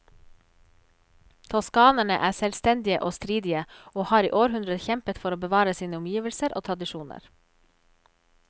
Toskanerne er selvstendige og stridige, og har i århundrer kjempet for å bevare sine omgivelser og tradisjoner.